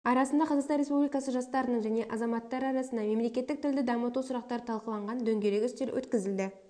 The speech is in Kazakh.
арасында қазақстан республикасы жастарының және азаматтары арасында мемлекеттік тілді дамыту сұрақтары талқыланған дөңгелек үстел өткізілді